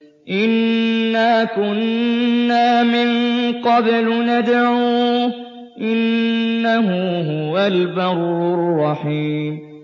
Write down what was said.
إِنَّا كُنَّا مِن قَبْلُ نَدْعُوهُ ۖ إِنَّهُ هُوَ الْبَرُّ الرَّحِيمُ